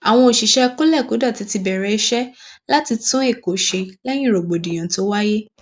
àwọn òṣìṣẹ kọlékòdọtì ti bẹrẹ iṣẹ láti tún èkó ṣe lẹyìn rògbòdìyàn tó wáyé